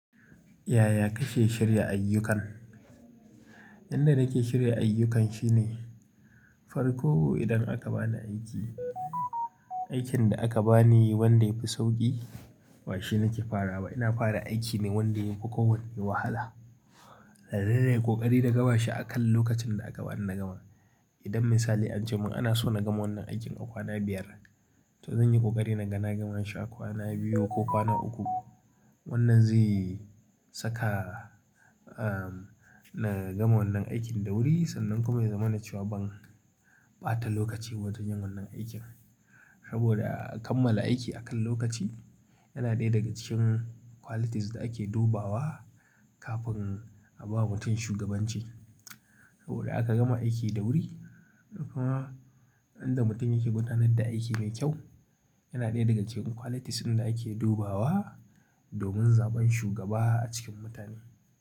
Yaya kake shirya ayyukan? Inda nake shirya ayyukan shine, farko idan aka bani aiki, aikin da aka bani wanda yafi sauƙi ba shine nake fara ba. Ina fara aiki ne wanda yafi kowanne wahala. Nan da nan ya yi ƙoƙari da gaba shi akan lokacin da aka bani na gama. Idan misali an ce mun ana so na gama wannan aikin a kwana biyar, to zan yi ƙoƙari na gana gamansa kwana biyu ko kwana uku. Wannan zai saka, ah, na gama wannan aikin da wuri sannan kuma ya zama na cewa ban ɓata lokaci ba don yin wannan aikin. Saboda kammala aiki akan lokaci yana ɗaya daga cikin qualities da ake dubawa kafin a ba mutum shugabanci. Saboda aka gama aiki da wuri, kuma inda mutum yake gudanar da aiki mai kyau yana ɗaya daga cikin qualities inda ake dubawa domin zaɓen shugaba a cikin mutane.